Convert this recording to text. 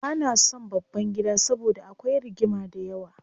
Bana son babban gida saboda akwai rigima dayawa.